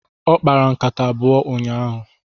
Ọ kpara nkata abụọ n'ụnyaahụ.